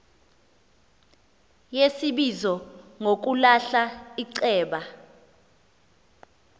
yesibizo ngokulahla iceba